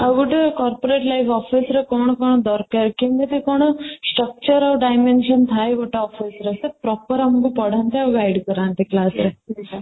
ଆଉ ଗୋଟିଏ corporate life boxes ରେ କ'ଣ କ'ଣ ଦରକାର କେମିତି କ'ଣ structure ଆଉ dimension ଥାଏ ଗୋଟେ ତ proper ଆମକୁ ପଢାନ୍ତେ ଆଉ guide କରାନ୍ତେ class ରେ ଅଭିକା